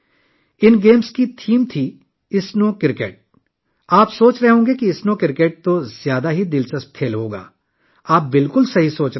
ان games کا theme تھا snow cricket! آپ سوچ رہے ہوں گے کہ اسنو کرکٹ ایک بہت ہی دلچسپ کھیل ہو گا اور آپ بالکل ٹھیک کہہ رہے ہیں